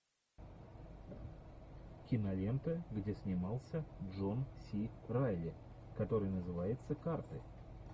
кинолента где снимался джон си райли который называется карты